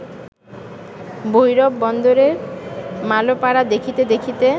ভৈরব বন্দরের মালোপাড়া দেখিতে দেখিতে